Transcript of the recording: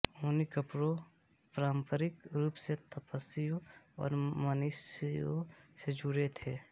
ऊनी कपड़े पारंपरिक रूप से तपस्वियों और मनीषियों से जुड़े थे